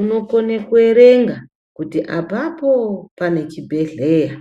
unokhone kuyerenga kuti apapo panechibhedhleya.